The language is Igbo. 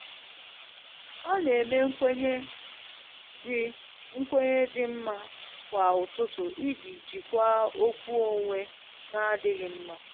Ọ na eme nkwenye dị nkwenye dị mma kwa ụtụtụ iji jikwaa okwu onwe n'adịghị mma.